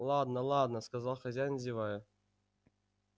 ладно-ладно сказал хозяин зевая